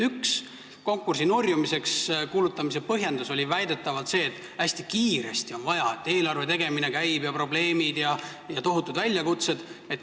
Üks konkursi nurjunuks kuulutamise põhjendusi oli väidetavalt see, et on vaja hästi kiiresti teha, eelarve tegemine käib, on probleemid ja tohutud väljakutsed.